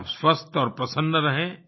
आप स्वस्थ और प्रसन्न रहें